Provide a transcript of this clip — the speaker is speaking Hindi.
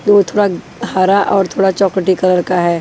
वो थोड़ा हरा और थोड़ा चॉकलेटी कलर का है।